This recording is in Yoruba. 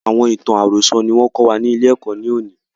Àwọn ìtàn àròsọ̀ ni wọn kọ́ wa ni ilé ẹ̀kọ́ ni òní.